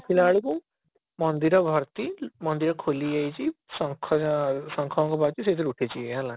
ଦେଖିଲା ବେଳକୁ ବେଳକୁ ମନ୍ଦିର ଭର୍ତ୍ତି ମନ୍ଦିର ଖୋଲି ଯାଇଛି ଶଙ୍ଖ ଶଙ୍ଖ ବାଜୁଛି ସେଥିରେ ଉଠିଛି ହେଲା